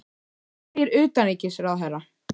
En hvað segir utanríkisráðherra?